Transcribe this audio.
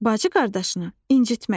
Bacı-qardaşını incitməz.